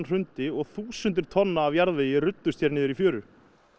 hrundi og þúsundir tonna af jarðvegi runnu hér niður í fjöru